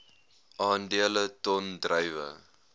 aandele ton druiwe